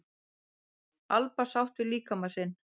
Alba sátt við líkama sinn